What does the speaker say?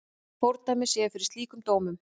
Fordæmi séu fyrir slíkum dómum.